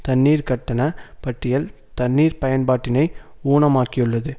தண்ணீர் கட்டண பட்டியல் தண்ணீர் பயன்பாட்டினை ஊனமாக்கியுள்ளது